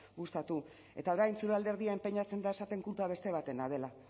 gustatu eta orain zure alderdia enpeinatzen da esaten kulpa beste batena dela